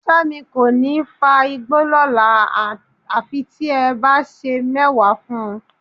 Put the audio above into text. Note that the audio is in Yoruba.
Fẹ́mi kò ní fa igbó lọ́la àfi tí ẹ bá sè é mẹ́wà fún un